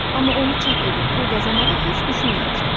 Amma onu çap edib pul qazanmağı heç düşünməmişdim.